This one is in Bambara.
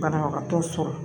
Banabagatɔ sɔrɔ